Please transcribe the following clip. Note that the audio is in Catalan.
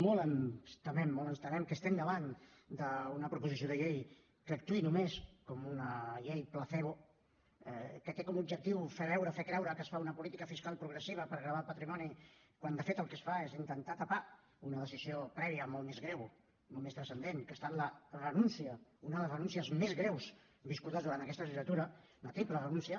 molt ens temem molt ens temem que estem davant d’una proposició de llei que actuï només com una llei placebo que té com a objectiu fer veure fer creure que es fa una política fiscal progressiva per gravar el patrimoni quan de fet el que es fa és intentar tapar una decisió prèvia molt més greu molt més transcendent que ha estat la renúncia una de les renúncies més greus viscudes durant aquesta legislatura una triple renúncia